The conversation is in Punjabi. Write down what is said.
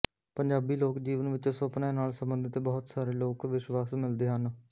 ਪੰਜਾਬੀ ਲੋਕ ਜੀਵਨ ਵਿਚ ਸੁਪਿਨਆਂ ਨਾਲ ਸੰਬੰਧਿਤ ਬਹੁਤ ਸਾਰੇ ਲੋਕ ਵਿਸ਼ਵਾਸ ਮਿਲਦੇ ਹਨ